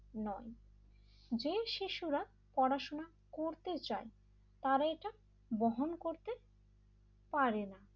নয় যে শিশুরা পড়াশোনা করতে চাই তারা এটা বহন করতে পারে না l